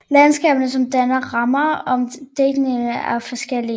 Landskabene som danner ramme om digtningen er forskellige